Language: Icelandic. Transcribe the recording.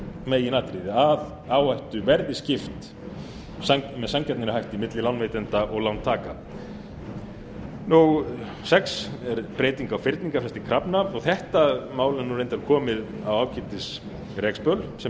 meginatriði að áhættu verði skipt með sanngjarnari hætti milli lánveitenda og lántaka númer sex er breyting á fyrningarfresta krafna þetta mál er reyndar komið á ágætis rekspöl sem betur